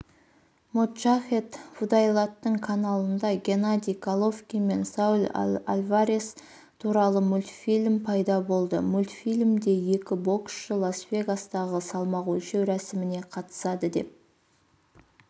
моджахед фудаилаттың каналында геннадий головкин мен сауль альварес туралы мультфильм пайда болды мультфильмде екі боксшы лас-вегастағы салмақ өлшеу рәсіміне қатысады деп